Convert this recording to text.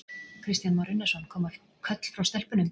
Kristján Már Unnarsson: Koma köll frá stelpunum?